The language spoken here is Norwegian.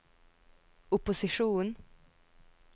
opposisjonen